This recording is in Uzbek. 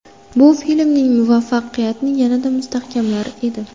Bu filmning muvaffaqiyatini yanada mustahkamlar edi.